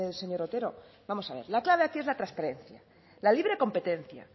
señor otero vamos a ver la clave aquí es la transparencia la libre competencia